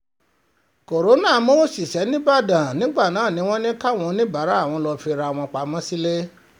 kọ́ńtà mú òṣìṣẹ́ dniv nígbàdàn wọn bá ní káwọn oníbàárà wọn lọ́ọ́ fira wọn pamọ́ sílẹ̀